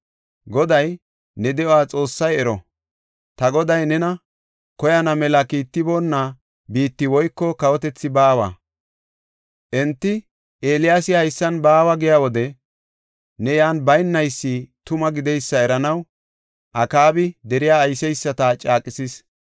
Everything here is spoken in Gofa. Goday, ne de7o Xoossay ero! Ta goday nena koyana mela kiitiboonna biitti woyko kawotethi baawa. Enti, ‘Eeliyaasi haysan baawa’ giya wode ne yan baynaysi tuma gideysa eranaw Akaabi deriya ayseysata caaqisees.